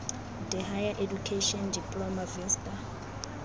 d higher education diploma vista